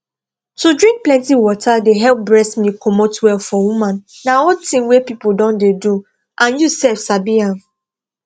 to drink plenty water dey help breast milk comot well for woman na old thing wey people don dey do and you sef sabi am